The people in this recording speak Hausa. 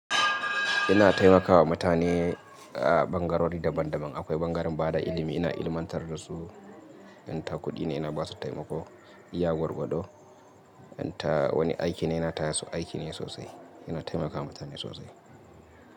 Ina taimakawa mutane a ɓangarori daban daban. Akwai ɓangaren bada ilimi, ina ilmantar da su. In ta kuɗi ne ina basu taimako, iya gwagwado, in ta wani aiki ne, ina taya su aiki ne sosai. Ina taimakawa mutane sosai.